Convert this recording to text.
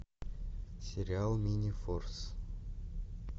сериал минифорс